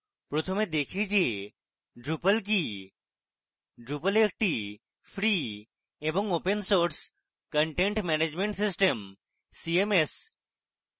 fপ্রথমে বুঝি যে drupal কি drupal একটি free এবং open source content management system CMS